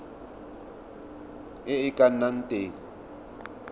e e ka nnang teng